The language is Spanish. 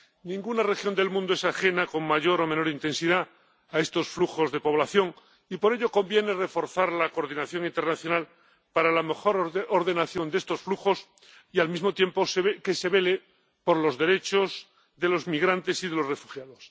Ninguna región del mundo es ajena con mayor o menor intensidad a estos flujos de población y, por ello, conviene reforzar la coordinación internacional para la mejor ordenación de estos flujos y, al mismo tiempo, que se vele por los derechos de los migrantes y de los refugiados.